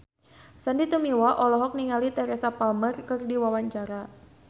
Sandy Tumiwa olohok ningali Teresa Palmer keur diwawancara